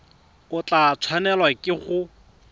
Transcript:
o tla tshwanelwa ke go